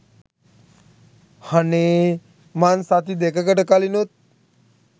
හනේ මං සති දෙකකට කලිනුත්